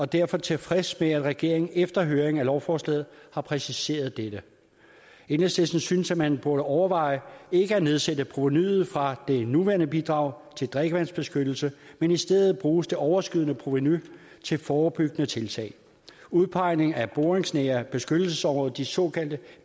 derfor tilfreds med at regeringen efter høring af lovforslaget har præciseret dette enhedslisten synes at man burde overveje ikke at nedsætte provenuet fra det nuværende bidrag til drikkevandsbeskyttelse men i stedet bruge det overskydende provenu til forebyggende tiltag udpegning af boringsnære beskyttelsesområder de såkaldte